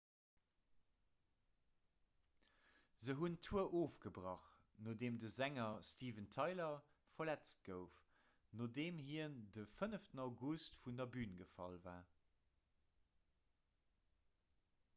se hunn d'tour ofgebrach nodeem de sänger steven tyler verletzt gouf nodeem hien de 5 august vun der bün gefall war